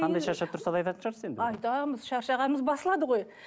қандай шаршап тұрса да айтатын шығарсыз енді айтамыз шаршағанымыз басылады ғой